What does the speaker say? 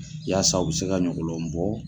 Yasa u bɛ se ka ɲɔgɔlɔn bɔ.